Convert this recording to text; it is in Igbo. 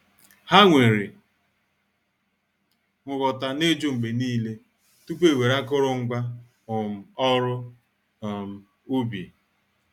Ha nwere nghọta na-ijụ mgbe niile tupu ewere akụrụngwa um oru um ubi.